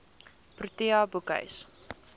protea boekhuis